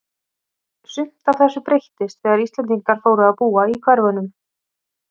Sumt af þessu breyttist þegar Íslendingar fóru að búa í hverfunum.